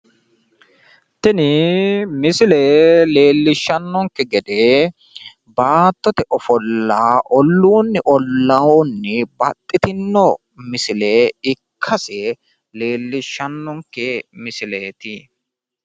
Tini misile leellishshannonke gede baattote ofolla olluunni ollaa babbaxxitinno misile ikkase leellishshanno misileeti.